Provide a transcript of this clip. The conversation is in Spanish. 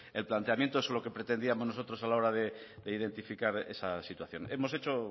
el planteamiento eso es lo que pretendíamos nosotros a la hora de identificar esa situación hemos hecho